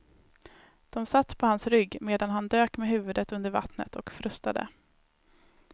De satt på hans rygg, medan han dök med huvudet under vattnet och frustade.